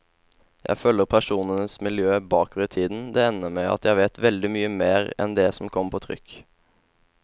Jeg følger personenes miljø bakover i tiden, det ender med at jeg vet veldig mye mer enn det som kommer på trykk.